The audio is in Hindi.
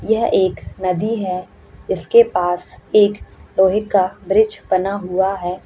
यह एक नदी है जिस के पास एक लोहे का ब्रिज बना हुआ है।